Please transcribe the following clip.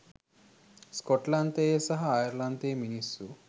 ස්කොට්ලන්තයේ සහ අයර්ලන්තයේ මිනිස්සු